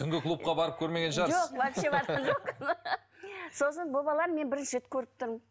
түнгі клубқа барып көрмеген шығарсыз жоқ вообще барған жоқпын сосын бұл баланы мен бірінші рет көріп тұрмын